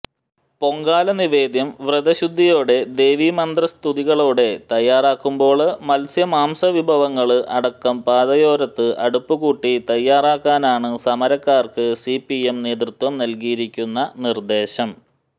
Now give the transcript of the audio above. പൊങ്കാലനിവേദ്യം വ്രതശുദ്ധിയോടെ ദേവീമന്ത്രസ്തുതികളോടെ തയ്യാറാക്കുമ്പോള് മത്സ്യ മാംസവിഭവങ്ങള് അടക്കം പാതയോരത്ത് അടുപ്പുകൂട്ടി തയ്യാറാക്കാനാണ് സമരക്കാര്ക്ക് സിപിഎം നേതൃത്വം നല്കിയിരിക്കുന്ന നിര്ദ്ദേശം